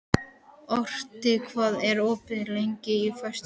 Otri, hvað er opið lengi á föstudaginn?